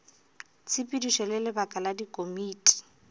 tshepedišo le lebaka la dikomiti